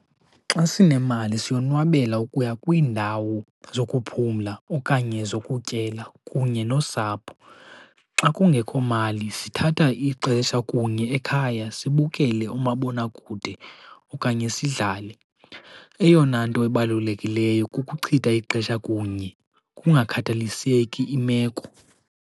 Xa sinemali siyonwabela ukuya kwiindawo zokuphumla okanye zokutyela kunye nosapho. Xa kungekho mali sithatha ixesha kunye ekhaya sibukele umabonakude okanye sidlale. Eyona nto ibalulekileyo kukuchitha ixesha kunye kungakhathaliseki imeko.